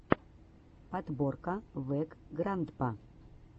подборка вэграндпа